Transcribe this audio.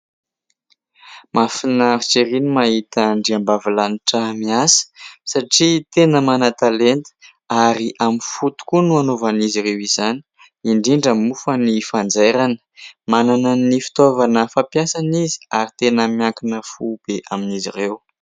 Mahafinaritra ery ny mahita andriambavilanitra miasa, satria tena mana-talenta ary amin'ny fo tokoa no hanaovan'izy ireo izany indrindra moa fa ny fanjairana. Manana ny fitaovana fampiasany izy ary tena miankina fo be amin'izy ireo.